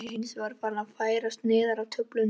Eyjamenn eru hinsvegar að færast neðar á töflunni.